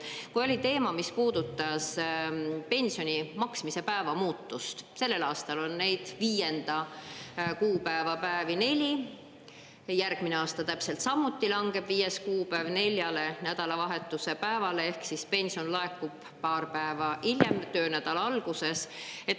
Kui oli teema, mis puudutas pensioni maksmise päeva muutust – sellel aastal on neid viienda kuupäeva päevi neli, järgmine aasta täpselt samuti langeb viies kuupäev neljale nädalavahetuse päevale, ehk pension laekub paar päeva hiljem, töönädala alguses.